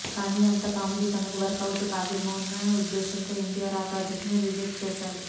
కానీ అంత కామెడీ తనకు వర్క్ అవుట్ కాదేమో అన్న ఉద్దేశంతో ఎన్టీఆర్ ఆ ప్రాజెక్ట్ను రిజెక్ట్ చేశాడు